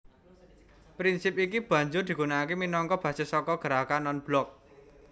Prinsip iki banjur digunakaké minangka basis saka Gerakan Non Blok